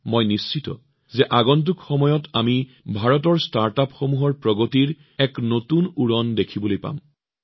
মই নিশ্চিত যে অনাগত সময়ত আমি ভাৰতৰ ষ্টাৰ্টআপ বিশ্বৰ প্ৰগতিৰ এক নতুন উৰণ দেখিম